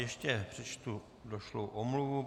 Ještě přečtu došlou omluvu.